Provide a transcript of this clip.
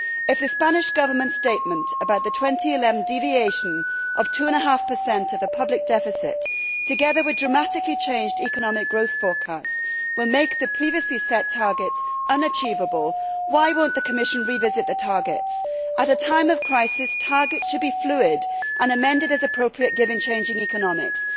If the Spanish Government's statement about the 2011 deviation of two and a half percent of the public deficit, together with drastically changed economic growth forecasts, will make the previously set target unachievable then why will the Commission not revisit the targets? At a time of crisis targets should be fluid and amended as appropriate, given changing economics.